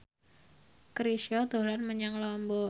Chrisye dolan menyang Lombok